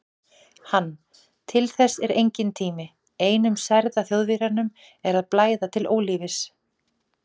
Hann: til þess er enginn tími, einum særða Þjóðverjanum er að blæða til ólífis